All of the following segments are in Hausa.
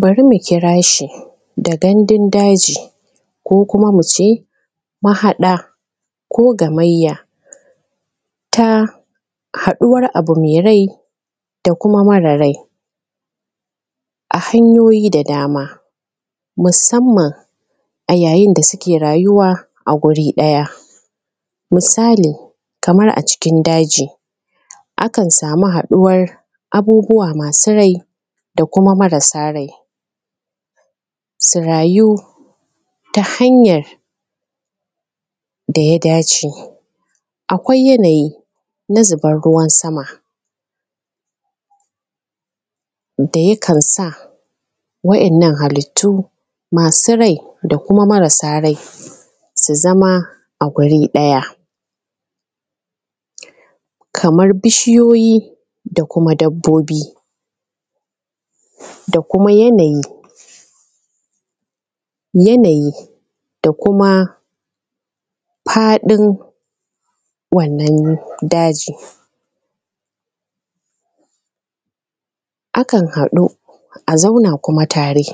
Bara mu kira shi da gandun daji, ko kuma mu ce mahaɗa ko gamayya ta haɗuwan abu me rai da kuma mara rai, a hanyoyi da dama, musamman a ya'yyin da suke rayyuwa a guri ɗaya. misali, kamar a cikin daji, akan samu haɗuwan abubuwa masu rai da kuma marasa rai, su rayu ta hanyar da ya dace. akwai yanayin zuban ruwan sama, da ya kan sa wa'yyannan halittu masu rai da marasa rai su zama a wuri ɗaya kamar bishiyoyi, dabbobi, da kuma yanayi-yanayi. da kuma faɗin-faɗin wannan dajin, akan haɗu, a zauna kuma tare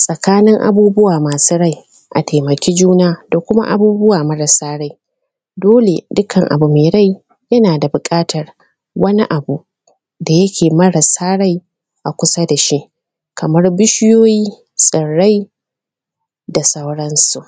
tsakanin abubuwa masu rai, su taimake juna, da kuma abubuwa marasa rai. dole dukan abu me rai yana da buƙatar wani abu da yake mara rai a kusa da shi, kamar bishiyoyi, tsurrai, da sauran su.